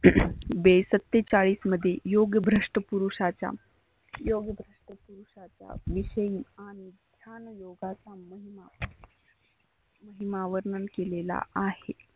बेसत्तेचाळीस मध्ये योग भ्रष्ट पुरुषाच्या योग प्रसिद्ध पुरुषाच्या विषयी आणि ह्या योगा संबंध मा वर्णन केलेला आहे.